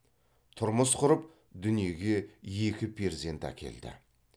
тұрмыс құрып дүниеге екі перзент әкелді